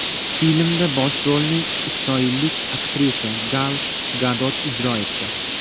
Filmda bosh rolni isroillik aktrisa Gal Gadot ijro etdi.